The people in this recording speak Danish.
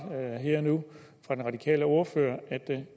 her og nu fra den radikale ordfører at